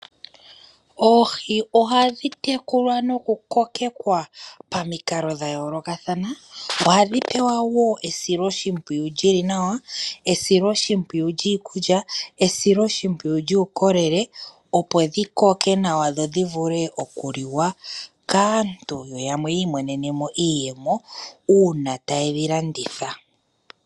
Oohi ohadhi tekulwa noku kokekwa pamikalo dha yolokathana. Ohadhi pewa wo esiloshimpwiyu lyili nawa. Esiloshimpwiyu lyiikulya, esiloshimpwiyu lyuukolele opo dhi koke nawa dhodhi vule oku liwa kaantu yo yamwe yiimonenemo iiyemo una taye dhi landitha.